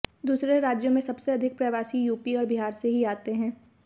दूसरे राज्यों में सबसे अधिक प्रवासी यूपी और बिहार से ही जाते हैं